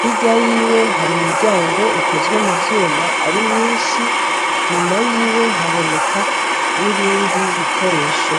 hirya yiwe har' imiryang' ikozwe mu vyum' arimyinsh' inyuma yiwe har' ibindi bikoresho.